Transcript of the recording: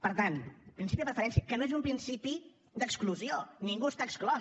per tant principi de preferència que no és un principi d’exclusió ningú n’està exclòs